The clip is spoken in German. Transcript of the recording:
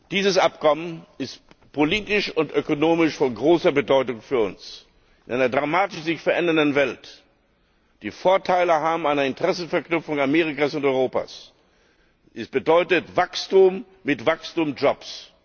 Dieses Abkommen ist politisch und ökonomisch von großer Bedeutung für uns. In einer sich dramatisch verändernden Welt die Vorteile einer Interessensverknüpfung Amerikas und Europas zu haben, bedeutet Wachstum mit Wachstumsjobs.